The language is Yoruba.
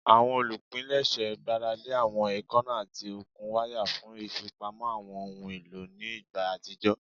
Awọn olupilẹṣẹ gbarale awọn eekanna ati okun waya fun ifipamo awọn ohun elo ni igba atijọ